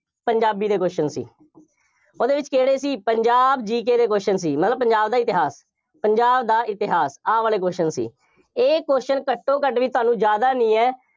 ਪੰਜਾਬੀ ਦੇ question ਸੀ, ਉਹਦੇ ਵਿੱਚ ਕਿਹੜੇ ਸੀ, ਪੰਜਾਬ GK ਦੇ question ਸੀ, ਮਤਲਬ ਪੰਜਾਬ ਦਾ ਇਤਿਹਾਸ, ਪੰਜਾਬ ਦਾ ਇਤਿਹਾਸ, ਆਹ ਵਾਲੇ question ਸੀ, ਇਹ question ਘੱਟੋਂ ਘੱਟ ਵੀ ਤੁਹਾਨੂੰ ਜ਼ਿਆਦਾ ਨਹੀਂ ਹੈ,